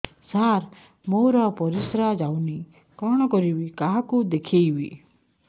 ସାର ମୋର ପରିସ୍ରା ଯାଉନି କଣ କରିବି କାହାକୁ ଦେଖେଇବି